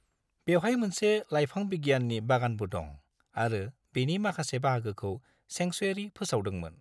बेवहाय मोनसे लाइफां बिगियाननि बागानबो दं आरो बेनि माखासे बाहागोखौ सेंकसुवेरि फोसावदोंमोन।